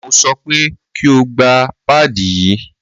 Mo sọ pé kí o gba páàdì yí!